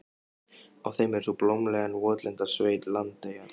Á þeim er sú blómlega en votlenda sveit, Landeyjar.